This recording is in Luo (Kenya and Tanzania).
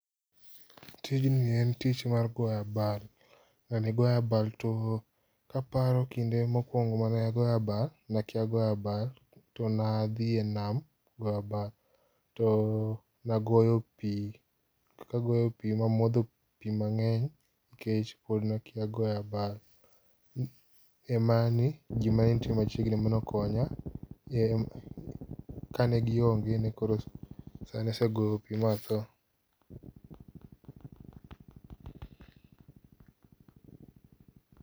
Tijni en tich mar goyo abal. Ng'ani goyo abal. Kaparo kinde mokuongo mane agoyo abal, ne akia goyo abal to ne adhi e nam goyo abal. Ne agoyo pi, nagoyo pi mamodho pi mang'eny nikech pod nakia goyo abal, en mana ni ji manenitie machiegni ema nokonya. Kane gionge nekoro asegoyo pi ma atho.